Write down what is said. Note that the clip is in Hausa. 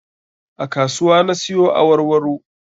A kasuwa na siyo awarwaro